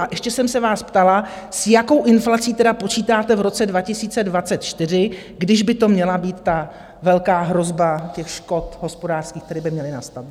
A ještě jsem se vás ptala, s jakou inflací tedy počítáte v roce 2024, když by to měla být ta velká hrozba těch škod hospodářských, které by měly nastat?